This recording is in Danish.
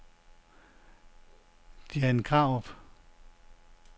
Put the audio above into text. Jane Krarup